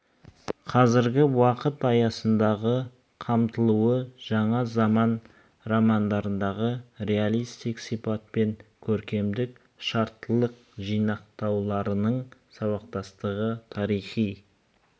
қазіргі уақыт аясындағы қамтылуы жаңа заман романдарындағы реалистік сипат пен көркемдік шарттылық жинақтауларының сабақтастығы тарихи